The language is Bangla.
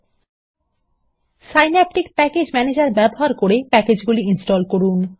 প্যাকেজগুলি ইনস্টল করার জন্য সিন্যাপটিক প্যাকেজ ম্যানেজার ব্যবহার করুন